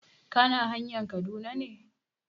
Kana hanayn Kaduna ne?